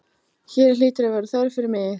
Hér hlýtur að vera þörf fyrir mig.